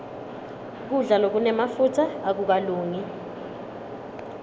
kudla lokunemafutsa akukalungi